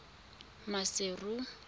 maseru